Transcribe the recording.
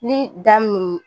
Ni daminɛ